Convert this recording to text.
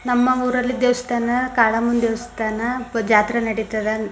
ನಮ್ಮ ಊರಲ್ಲಿ ದೇವಸ್ಥಾನ ಕಾಳಮ್ಮನ ದೇವಸ್ಥಾನ ಜಾತ್ರೆ ನಡೀತದ --